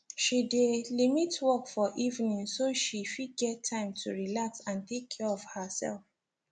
she dey limit work for evening so she fit get time to relax and take care of herself